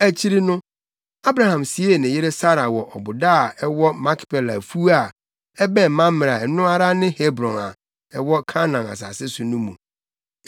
Akyiri no, Abraham siee ne yere Sara wɔ ɔboda a ɛwɔ Makpela afuw a ɛbɛn Mamrɛ a ɛno ara ne Hebron a ɛwɔ Kanaan asase so no mu.